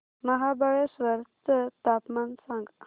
महाबळेश्वर चं तापमान सांग